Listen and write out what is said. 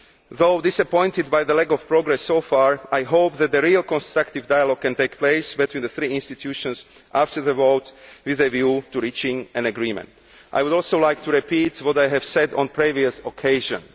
Though disappointed by the lack of progress so far, I hope that a real constructive dialogue can take place between the three institutions after the vote, with a view to reaching an agreement. I would also like to repeat what I have said on previous occasions.